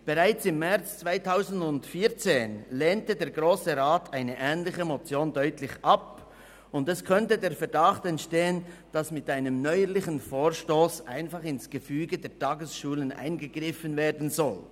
Bereits im März 2014 lehnte der Grosse Rat eine ähnliche Motion deutlich ab, und es könnte der Verdacht entstehen, dass mit einem neuerlichen Vorstoss einfach ins Gefüge der Tagesschulen eingegriffen werden soll.